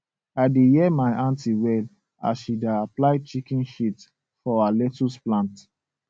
i da hear my aunty well as she da apply chicken shit for her lettuce plant